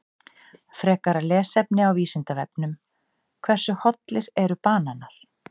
Frekara lesefni á Vísindavefnum: Hversu hollir eru bananar?